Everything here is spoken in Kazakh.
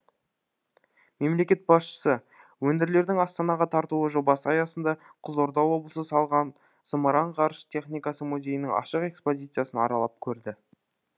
мемлекет басшысы өңірлердің астанаға тартуы жобасы аясында қызылорда облысы салған зымыран ғарыш техникасы музейінің ашық экспозициясын аралап көрді